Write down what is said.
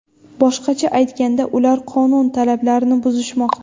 Boshqacha aytganda, ular qonun talablarini buzishmoqda.